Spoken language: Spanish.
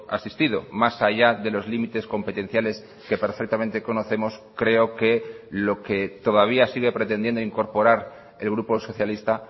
asistido más allá de los límites competenciales que perfectamente conocemos creo que lo que todavía sigue pretendiendo incorporar el grupo socialista